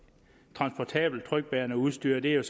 transportabelt trykbærende udstyr og det er